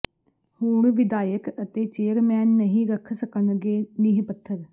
ਹੁਣ ਵਿਧਾਇਕ ਤੇ ਚੇਅਰਮੈਨ ਨਹੀਂ ਰੱਖ ਸਕਣਗੇ ਨੀਂਹ ਪੱਥਰ